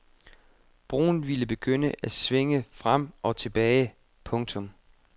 Broen ville begynde at svinge frem og tilbage. punktum